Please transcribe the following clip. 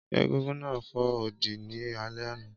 Égúngún náà fo odi ní alẹ́ àná